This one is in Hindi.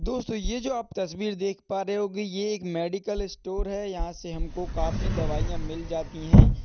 दोस्तों यह जो आप तस्वीर देख पा रहे होगे। ये एक मेडिकल स्टोर है। यहाँ से हमको काफी दवाइयाँ मिल जाती हैं।